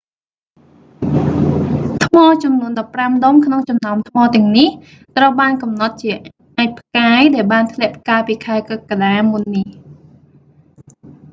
ថ្មចំនួនដប់ប្រាំដុំក្នុងចំណោមថ្មទាំងនេះ ត្រូវបានកំណត់ជាអាចផ្កាយដែលបានធ្លាក់កាលពីខែកក្កដាមុននេះ